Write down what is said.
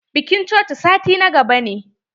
Bikin cocin sati na gaba ne.